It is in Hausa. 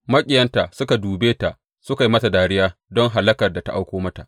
Maƙiyanta suka dube ta suka yi mata dariya don hallakar da ta auko mata.